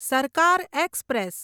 સરકાર એક્સપ્રેસ